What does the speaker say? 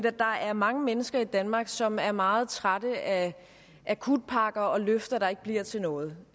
at der er mange mennesker i danmark som er meget trætte af akutpakker og løfter der ikke bliver til noget